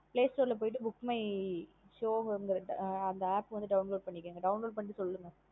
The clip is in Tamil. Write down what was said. Playstore லா போயிட்டு book my show வந்திருக்கும் ஆஹ் அந்த app வந்து download பண்ணிகோங்க download பண்ணிட்டு சொல்லுங்க.